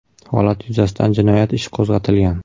Holat yuzasidan jinoyat ishi qo‘zg‘atilgan .